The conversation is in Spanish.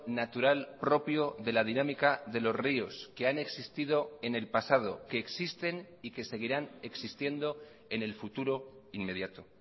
natural propio de la dinámica de los ríos que han existido en el pasado que existen y que seguirán existiendo en el futuro inmediato